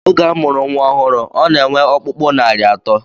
Oge a mụrụ nnwa ọhụrụ, ọ na-enwe ọkpụkpụ narị atọ